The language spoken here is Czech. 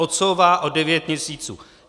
Odsouvá o devět měsíců.